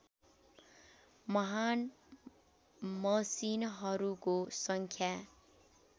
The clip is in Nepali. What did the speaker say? महान् मसिनहरूको सङ्ख्या